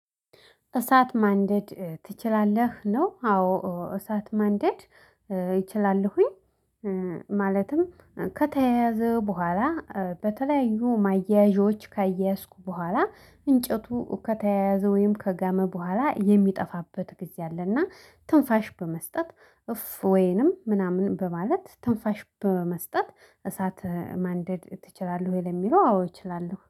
እሳት ማንደድ ትችላለህ? ነው። አዎ እሳት ማንደድ እችላለሁኝ። ማለትም ከተያያዘ በኋላ በተለያዩ ማያያዦች ካያያዝኩ በኋላ እንጨቱ ከተያያዘ ወይም ከጋመ በኋላ የሚጠፋበት ጊዜ አለና። ትንፋሽ በመስጠት እፍ ወይንም ምናምን በማለት ትንፋሽ በመስጠት እሳት ማንደድ ትችላለህ? ወይ ለሚለው አዎ እችላለሁ